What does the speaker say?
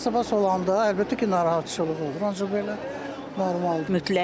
Basta olanda əlbəttə ki narahatçılıq olur, ancaq belə normaldır.